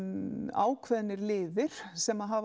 ákveðnir liðir sem hafa